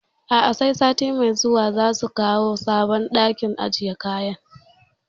A'a, sai sati mai zuwa za su kawo sabon ɗakin ajiye kayan